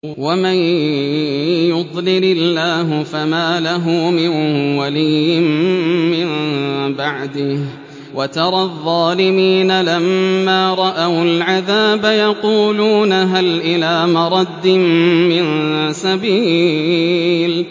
وَمَن يُضْلِلِ اللَّهُ فَمَا لَهُ مِن وَلِيٍّ مِّن بَعْدِهِ ۗ وَتَرَى الظَّالِمِينَ لَمَّا رَأَوُا الْعَذَابَ يَقُولُونَ هَلْ إِلَىٰ مَرَدٍّ مِّن سَبِيلٍ